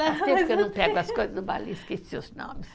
não pego as coisas esqueci os nomes.